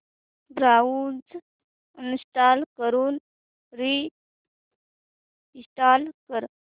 browser uninstall करून reinstall कर